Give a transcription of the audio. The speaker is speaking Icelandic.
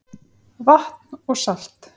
Vatn og salt